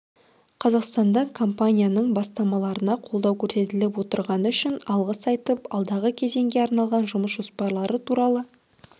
қазақстанда компанияның бастамаларына қолдау көрсетіліп отырғаны үшін алғыс айтып алдағы кезеңге арналған жұмыс жоспарлары туралы